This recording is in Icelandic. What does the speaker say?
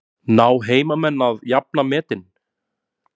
Ná heimamenn að jafna metin?